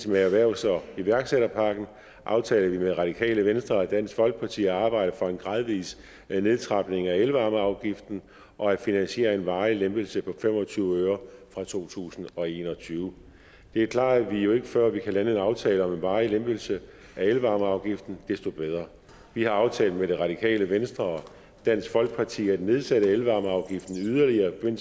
med erhvervs og iværksætterpakken aftalte vi med radikale venstre og dansk folkeparti at arbejde for en gradvis nedtrapning af elvarmeafgiften og at finansiere en varig lempelse på fem og tyve øre fra to tusind og en og tyve det er klart at jo før vi kan lave en aftale om en varig lempelse af elvarmeafgiften desto bedre vi har aftalt med det radikale venstre og dansk folkeparti at nedsætte elvarmeafgiften yderligere i